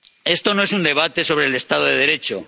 Esto no es un debate sobre el Estado de Derecho.